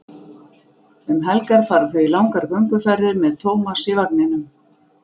Um helgar fara þau í langar gönguferðir með Tómas í vagninum.